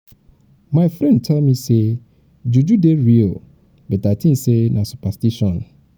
my friend tell me sey juju dey real but i tink sey na superstition.